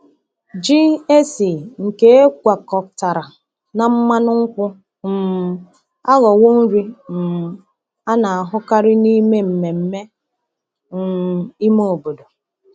Ji esi nke e gwakọtara na mmanụ nkwụ um aghọwo nri um a na-ahụkarị n’ime mmemme um ime obodo.